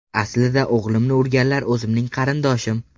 Aslida o‘g‘limni urganlar o‘zimning qarindoshim.